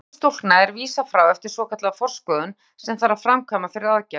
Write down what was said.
Um þriðjungi sjúklinga er vísað frá eftir svokallaða forskoðun sem þarf að framkvæma fyrir aðgerð.